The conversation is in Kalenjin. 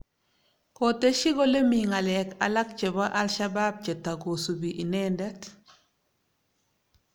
Kotesyi kole mi ng'alek alak chebo Al-Shabaab che tagosubi inendet